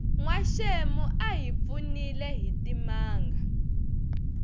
nwaxemu a hi pfunile hitimanga